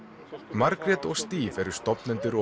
Margrét og Steve eru stofnendur og